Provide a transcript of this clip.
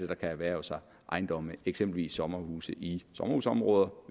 kan erhverve sig ejendomme eksempelvis sommerhuse i sommerhusområder